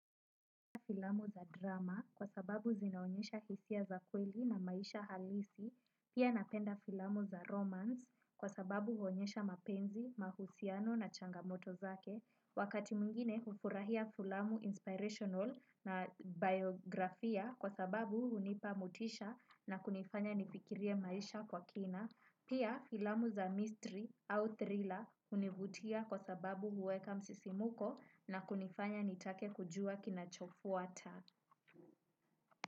Filamu za drama kwa sababu zinaonyesha hisia za kweli na maisha halisi. Pia napenda filamu za romance kwa sababu huonyesha mapenzi, mahusiano na changamoto zake. Wakati mwingine hufurahia filamu inspirational na biografia kwa sababu hunipa motisha na kunifanya nifikirie maisha kwa kina. Pia filamu za mystery au thriller hunivutia kwa sababu huweka msisimuko na kunifanya nitake kujua kinachofuata.